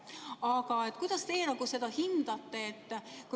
Aga kuidas teie seda hindate?